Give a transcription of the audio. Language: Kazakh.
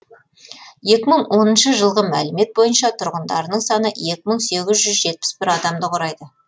екі мың оныншы жылғы мәліметтер бойынша тұрғындарының саны екі мың сегіз жүз жетпіс бір адамды құрайды